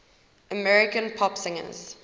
american pop singers